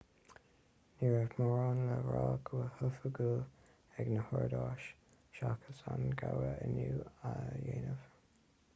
ní raibh mórán le rá go hoifigiúil ag na húdaráis seachas an gabhadh inniu a dheimhniú